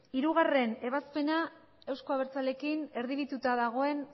hirugarrena ebazpena euzko abertzaleekin erdibidetuta dagoen